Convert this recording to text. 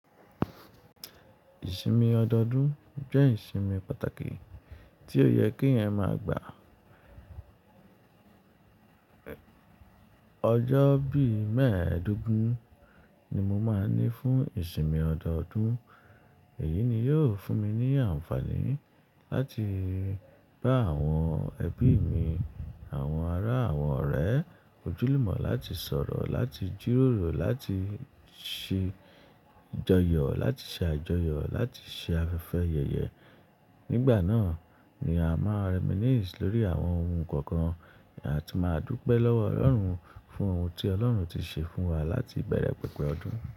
Ìsinmi ọdọọdún jẹ́ ìsinmi pàtàkì tí ó yẹ kí ẹ̀yin máa gbà. Ọjọ́ bí mẹ́ẹ̀ẹ́dógún ni mo máa n ní fún ìsinmi ọdọọdún. Èyí ni yóò fún mi ní àǹfààní láti bá àwọn ẹbí mi, àwọn ará àwọn ọ̀rẹ́ ojú lumọ̀, láti sọ̀rọ̀, láti jíròrò, láti ṣe ìjọyọ̀, láti ṣe àjọyọ̀, láti ṣe afẹ́fẹ́ yẹyẹ. Nígbà náà ni a máa reminisce lórí àwọn ohun kọ̀ọ̀kan a tun máa dúpẹ́ lọ́wọ́ Ọlọ́run fún ohun tí Ọlọ́run ti ṣe fún wa láti ìbẹ̀rẹ̀ pẹ̀pẹ̀ ọdún.